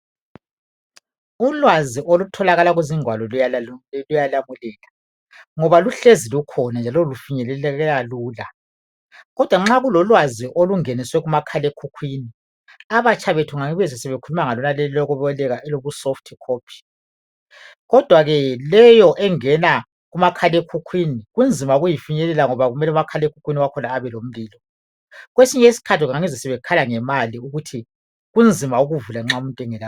Ulwazi olutholakala kuzingwalo luyalamulela ngoba luhlezi njalo lufinyeleleka lula. Kodwa nxa kulolwazi olungeniswe kumakhalekhukhwini abatsha bethu abakhuluma ngolokuboleka olobu soft copy kodwa ke leyo engena kumakhalekhukhwini kunzima ukuyifinyelela ngoba kumele umakhalekhukhwini wakhona abelomlilo. Kwesinye isikhathi ngiyangizwe sebekhala ngemali ukuthi kunzima ukuvula nxa umuntu engela data.